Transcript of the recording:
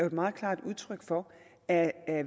et meget klart udtryk for at